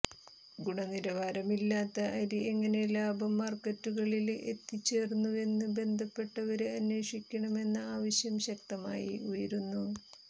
ഗുണനിലവാരമില്ലാത്ത അരി എങ്ങനെ ലാഭം മാര്ക്കറ്റുകളില് എത്തിച്ചേര്ന്നുവെന്ന് ബന്ധപ്പെട്ടവര് അന്വേഷിക്കണമെന്ന ആവശ്യം ശക്തമായി ഉയരുന്നു